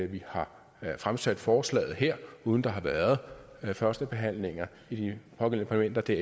vi har fremsat forslaget her uden der har været førstebehandlinger i de pågældende parlamenter det er